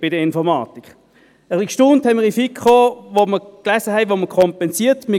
Ein bisschen erstaunt waren wir in der FiKo, als wir lasen, wo kompensiert wird.